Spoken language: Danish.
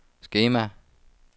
skema